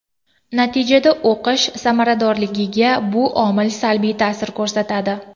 Natijada o‘qish samaradorligiga bu omil salbiy ta’sir ko‘rsatadi.